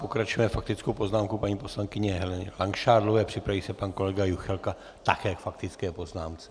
Pokračujeme faktickou poznámkou paní poslankyně Heleny Langšádlové, připraví se pan kolega Juchelka také k faktické poznámce.